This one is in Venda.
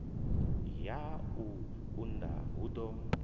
ya u unḓa hu ḓo